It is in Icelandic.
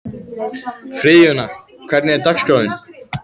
Friðjóna, hvernig er dagskráin?